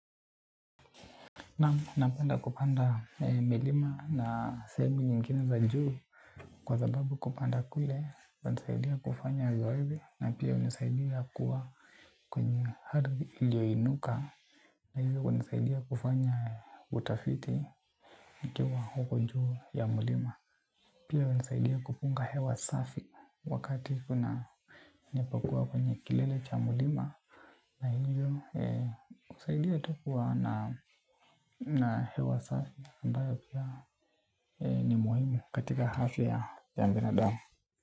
Naamu, napenda kupanda milima na sehemu nyengine za juu. Kwa sababu kupanda kule, kunasaidia kufanya zoezi. Na pia hunsaidia kuwa kwenye ardhi iliyoinuka. Na hivyo kunsaidia kufanya utafiti. Nikiwa huko juu ya mlima pia hunisaidia kupunga hewa safi. Wakati ninapokuwa kwenye kilele cha mlima na hiyo, kusaidia tu kuwa na hewa safi ambayo pia ni muhimu katika afya ya binadamu.